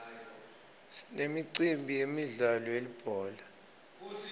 sinemicimbi yemidlalo yelibhola